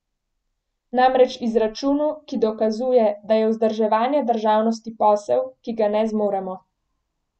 Namreč izračunu, ki dokazuje, da je vzdrževanje državnosti posel, ki ga ne zmoremo.